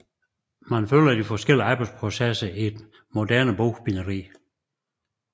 Man følger de forskellige arbejdsprocesser i et moderne bogbinderi